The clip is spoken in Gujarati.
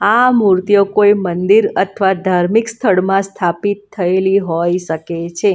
આ મૂર્તિઓ કોઈ મંદિર અથવા ધાર્મિક સ્થળમાં સ્થાપિત થયેલી હોય શકે છે.